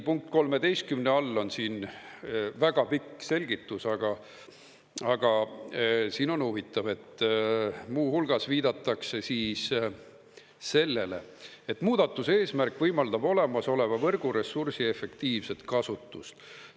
Punkt 13 all on siin väga pikk selgitus, aga siin on huvitav, et muu hulgas viidatakse sellele, et muudatuse eesmärk võimaldab olemasoleva võrgu ressursi efektiivset kasutust.